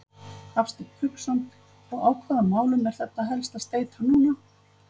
Hafsteinn Hauksson: Og á hvaða málum er þetta helst að steyta núna?